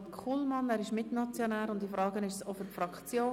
Kullmann spricht als Mitmotionär und zugleich für die Fraktion.